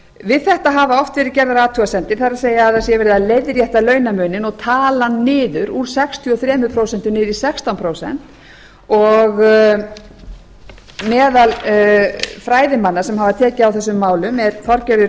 við þetta hafa oft verið gerðar athugasemdir það er að það sé verið að leiðrétta launamuninn og tala hann niður úr sextíu og þrjú prósent niður í sextán prósent og meðal fræðimanna sem hafa tekið á þessum málum er þorgerður